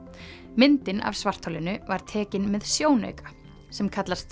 myndin af svartholinu var tekin með sjónauka sem kallast